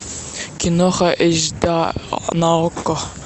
киноха эйч да на окко